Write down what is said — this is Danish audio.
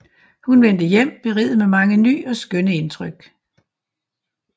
Hun vendte hjem beriget med mange ny og skønne Indtryk